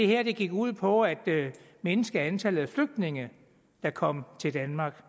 her gik ud på at mindske antallet af flygtninge der kom til danmark